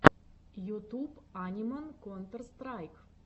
ютуб аниман контер страйк